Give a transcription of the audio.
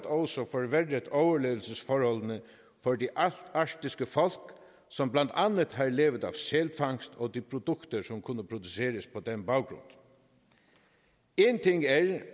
også forværret overlevelsesforholdene for de arktiske folk som blandt andet har levet af sælfangst og de produkter som kunne produceres på den baggrund én ting er